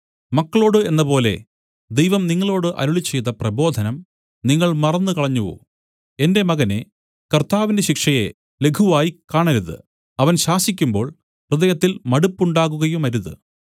മക്കളോടു എന്നപോലെ ദൈവം നിങ്ങളോടു അരുളിച്ചെയ്ത പ്രബോധനം നിങ്ങൾ മറന്നുകളഞ്ഞുവോ എന്റെ മകനേ കർത്താവിന്റെ ശിക്ഷയെ ലഘുവായി കാണരുത് അവൻ ശാസിക്കുമ്പോൾ ഹൃദയത്തിൽ മടുപ്പുണ്ടാകുകയുമരുത്